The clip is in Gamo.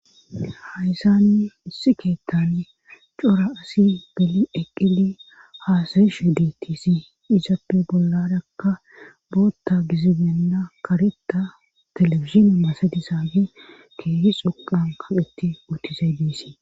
hayzaanni issi keettan cora asi beli eqqili haasayishu deettisi izaappe bolladakka bootta gizibenna karetta telefisini masadisaabe keesi xoqan kaqeti utizay diesii